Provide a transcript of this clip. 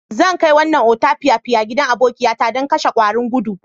Zan kai wannan otapiapian gidan abokiya ta dan kashen kwarin godo.